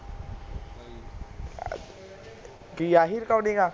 ਕਿ ਆਹੀ ਰਿਕਾਰਡਿੰਗ ਹੈ